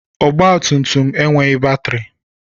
Ọgba tum tum enweghị batrị.